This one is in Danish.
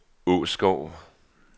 Åskov